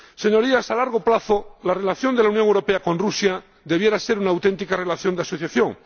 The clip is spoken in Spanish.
Señorías, a largo plazo la relación de la Unión Europea con Rusia debiera ser una auténtica relación de asociación.